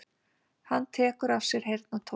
Hann tekur af sér heyrnartólin.